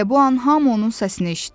Elə bu an hamı onun səsini eşitdi.